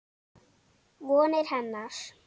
Vonir hennar.